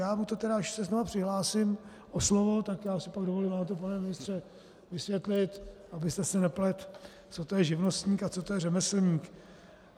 Já mu to tedy, až se znovu přihlásím o slovo, tak já si pak dovolím vám to, pane ministře, vysvětlit, abyste si nepletl, co to je živnostník a co to je řemeslník.